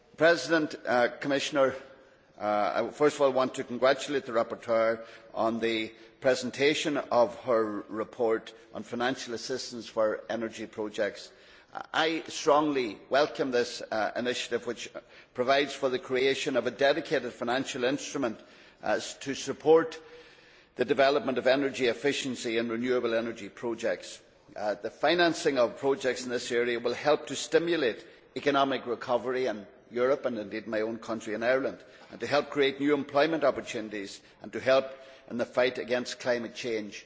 I first of all want to congratulate the rapporteur on the presentation of her report on financial assistance for energy projects. I strongly welcome this initiative, which provides for the creation of a dedicated financial instrument to support the development of energy efficiency and renewable energy projects. The financing of projects in this area will help to stimulate economic recovery in Europe, and indeed in my own country, Ireland, and help to create new employment opportunities and also help in the fight against climate change.